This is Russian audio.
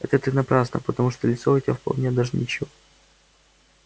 это ты напрасно потому что лицо у тебя вполне даже ничё